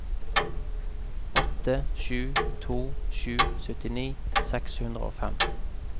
åtte sju to sju syttini seks hundre og fem